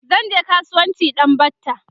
zanje kasuwanci a ɗan batta